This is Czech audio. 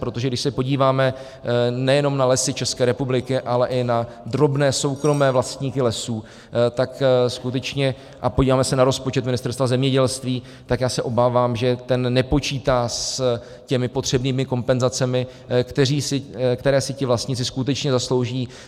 Protože když se podíváme nejenom na Lesy České republiky, ale i na drobné soukromé vlastníky lesů, tak skutečně - a podíváme se na rozpočet Ministerstva zemědělství, tak já se obávám, že ten nepočítá s těmi potřebnými kompenzacemi, které si ti vlastníci skutečně zaslouží.